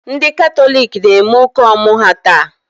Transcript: Ndị Katọlik na-eme ụka ọmụ ha taa.